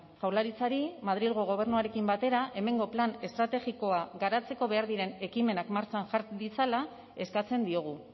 jaurlaritzari madrilgo gobernuarekin batera hemengo plan estrategikoa garatzeko behar diren ekimenak martxan jar ditzala eskatzen diogu